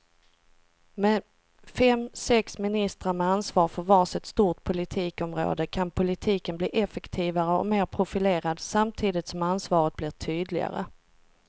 Med fem, sex ministrar med ansvar för var sitt stort politikområde kan politiken bli effektivare och mer profilerad samtidigt som ansvaret blir tydligare.